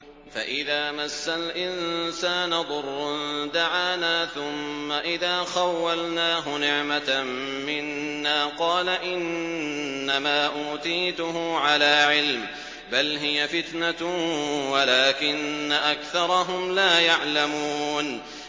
فَإِذَا مَسَّ الْإِنسَانَ ضُرٌّ دَعَانَا ثُمَّ إِذَا خَوَّلْنَاهُ نِعْمَةً مِّنَّا قَالَ إِنَّمَا أُوتِيتُهُ عَلَىٰ عِلْمٍ ۚ بَلْ هِيَ فِتْنَةٌ وَلَٰكِنَّ أَكْثَرَهُمْ لَا يَعْلَمُونَ